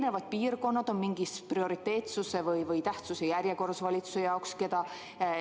Kas eri piirkonnad on mingis prioriteetsuse või tähtsuse järjekorras valitsuse jaoks?